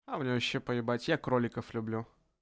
а мне вообще поебать я кроликов люблю